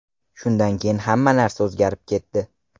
Shundan keyin hamma narsa o‘zgarib ketdi.